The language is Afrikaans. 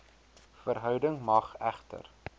verhouding mag egter